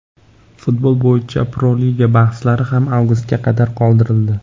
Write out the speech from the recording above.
Futbol bo‘yicha Pro-Liga bahslari ham avgustga qadar qoldirildi.